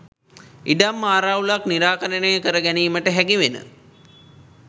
ඉඩම් ආරවුලක් නිරාකරණය කර ගැනීමට හැකිවන